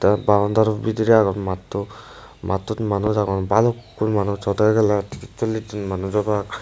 boundary bedirey agon matto mattot manus agon balukun manus hodo seke tres solis manus obak.